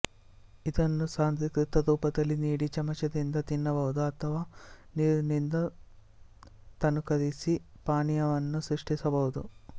ಇದನ್ನು ಸಾಂದ್ರೀಕೃತ ರೂಪದಲ್ಲಿ ನೀಡಿ ಚಮಚದಿಂದ ತಿನ್ನಬಹುದು ಅಥವಾ ನೀರಿನಿಂದ ತನೂಕರಿಸಿ ಪಾನೀಯವನ್ನು ಸೃಷ್ಟಿಸಬಹುದು